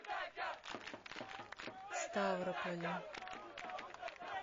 ставрополю